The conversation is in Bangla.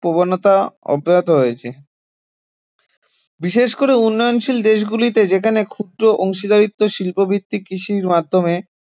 প্রবণতা অব্যাহত রয়েছে বিশেষ করে উন্নয়নশীল দেশগুলিতে যেখানে ক্ষুদ্র অংশীদারিত্ব শিল্পভিত্তিক কৃষির মাধ্যমে